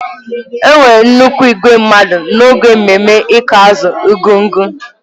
Enwere nnukwu igwe mmadụ n'oge mmemme ịkụ azụ Argungun.